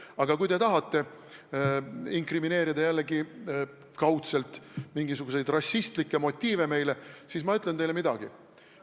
Aga kui te tahate jällegi meile kaudselt inkrimineerida mingisuguseid rassistlikke motiive, siis ma ütlen teile midagi.